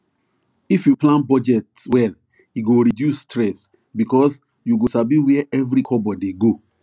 if you plan budget well e go reduce stress because you go sabi where every kobo dey go